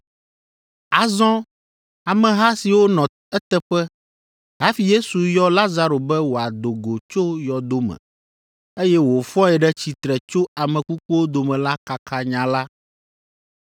Azɔ ameha siwo nɔ eteƒe hafi Yesu yɔ Lazaro be wòado go tso yɔdo me, eye wòfɔe ɖe tsitre tso ame kukuwo dome la kaka nya la.